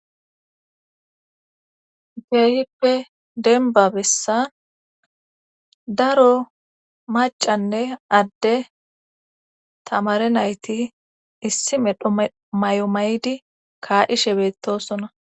Keehippe denbabessa daro macanne adde tamare nayti issi medho may7o maydi kaadishe beettosona.